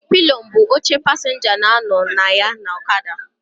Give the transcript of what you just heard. Pilion bụ oche pasịnja na-anọ na ya na ọkada.